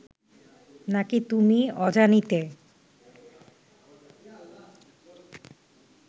না কি তুমি অজানিতে